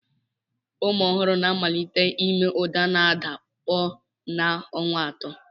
Ụmụ ohuru na-amalite ime uda n'ada koo n'ọnwa atọ.